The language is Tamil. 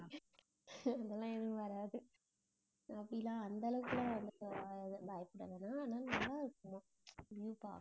அதெல்லாம் எதுவும் வராது. அப்படி எல்லாம், அந்த அளவுக்கு எல்லாம் வந்து அஹ் பயப்பட வேணாம். ஆனா நல்லா இருக்குமாம் view பாக்க